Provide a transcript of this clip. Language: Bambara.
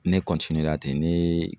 Ne la ten ne